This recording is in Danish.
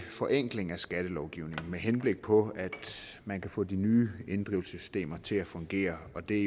forenkling af skattelovgivningen med henblik på at man kan få de nye inddrivelsessystemer til at fungere og det